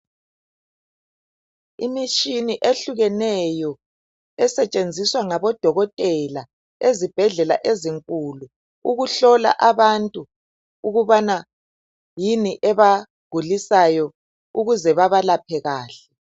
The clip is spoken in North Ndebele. Imitshini eyehlukeneyo esetshenziswa ngabodokotela ezibhedlela ezinkulu ukuhlola abantu ukubana yini ebagulisayo ukuze bebalaphe kahle.